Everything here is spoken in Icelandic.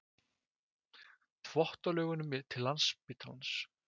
Þvottalaugunum til Landspítalans.